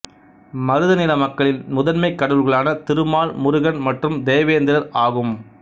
மருத நில மக்களின் முதன்மைக் கடவுள்களான திருமால் முருகன் மற்றும் தேவேந்திரர் ஆகும்